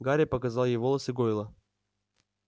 гарри показал ей волосы гойла